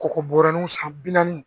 Kɔgɔ bɔrɛw san bi naani